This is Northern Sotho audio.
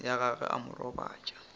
ya gagwe a mo robatša